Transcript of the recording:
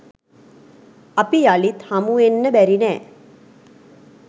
අපි යළිත් හමුවෙන්න බැරි නෑ.